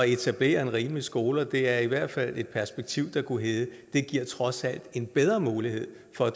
etablere en rimelig skole og det er i hvert fald et perspektiv der kunne hedde det giver trods alt en bedre mulighed for at